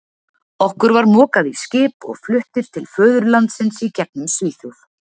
Okkur var mokað í skip og fluttir til föðurlandsins í gegnum Svíþjóð.